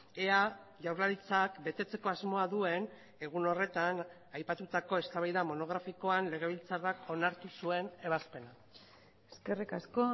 ea jaurlaritzak betetzeko asmoa duen egun horretan aipatutako eztabaida monografikoan legebiltzarrak onartu zuen ebazpena eskerrik asko